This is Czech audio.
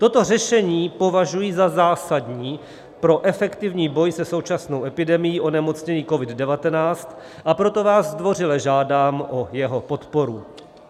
Toto řešení považuji za zásadní pro efektivní boj se současnou epidemií onemocnění COVID-19, a proto vás zdvořile žádám o jeho podporu.